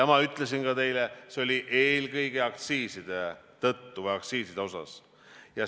Ma ütlesin ka teile, et see oli eelkõige aktsiiside tõttu.